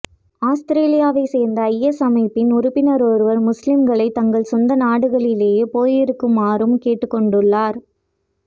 அவுஸ்திரேலியாவை சேர்ந்த ஐஎஸ் அமைப்பின் உறுப்பினர் ஒருவர் முஸ்லிம்களை தங்கள் சொந்த நாடுகளிலேயேயிருக்குமாறும் கேட்டுக்கொண்டுள்ளார்